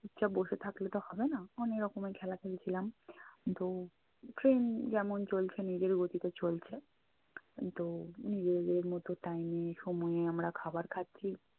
চুপচাপ বসে থাকলে তো হবেনা। অনেক রকমের খেলা খেলেছিলাম। তো train যেমন চলছে নিজের গতিতে চলছে তো নিজে নিজেদের মতো time এ সময়ে আমরা খাবার খাচ্ছি।